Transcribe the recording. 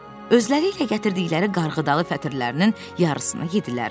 Özləri ilə gətirdikləri qarğıdalı fətirlərinin yarısını yedilər.